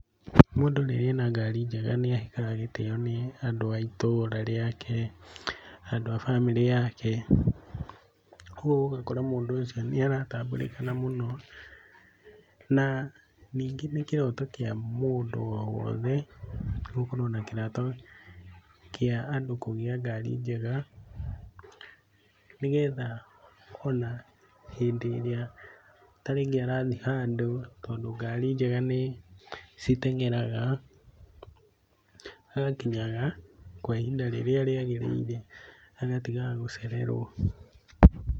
Mũndũ rĩrĩa ena ngari njega nĩ ahekaga gĩtĩo nĩ andũ a itũũra rĩake, andũ a bamĩrĩ yake, kwoguo ũgakora mũndũ ũcio nĩ aratambũrĩkana mũno, na ningĩ nĩ kĩroto kĩa mũndũ o wothe, gũkorwo na kĩroto, kĩa andũ kũgĩa ngari njega, nĩ getha o na hĩndĩ ĩrĩa ta rĩngĩ arathiĩ handũ, tondũ ngari njega nĩ, citeng'eraga, agakinyaga kwa ihinda rĩrĩa rĩagĩrĩire, agatigaga gũcererwo.